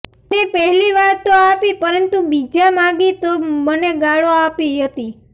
તેને પહેલી વારતો આપી પરંતુ બીજા માગી તો મને ગાળો આપી હતી